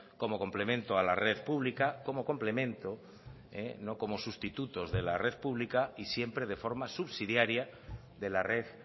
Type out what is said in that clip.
como complemento a la red pública como complemento no como sustitutos de la red pública y siempre de forma subsidiaria de la red